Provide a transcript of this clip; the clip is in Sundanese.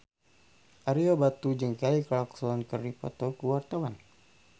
Ario Batu jeung Kelly Clarkson keur dipoto ku wartawan